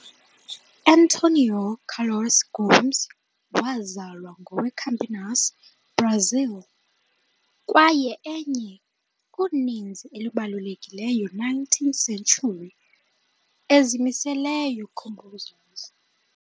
Antônio Carlos Gomes wazalwa ngowe-Campinas, Brazil, kwaye enye uninzi elibalulekileyo nineteenth century ezimiseleyo composers.